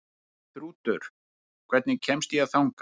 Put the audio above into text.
Þrútur, hvernig kemst ég þangað?